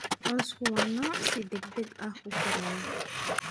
Cawsku waa nooc si degdeg ah u koraya.